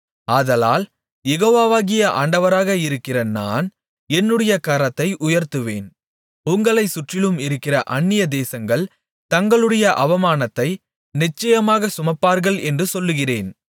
ஆதலால் யெகோவாகிய ஆண்டவராக இருக்கிற நான் என்னுடைய கரத்தை உயர்த்துவேன் உங்களைச் சுற்றிலும் இருக்கிற அந்நியதேசங்கள் தங்களுடைய அவமானத்தை நிச்சயமாகச் சுமப்பார்கள் என்று சொல்லுகிறேன்